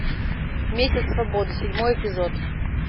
месяц свободы седьмой эпизод